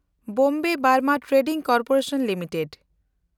ᱵᱚᱢᱵᱮ ᱵᱩᱢᱨᱟᱦ Trading Corporation limited